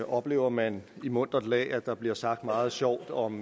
oplever man i muntert lag at der bliver sagt meget sjovt om